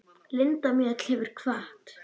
Linda Mjöll hefur kvatt.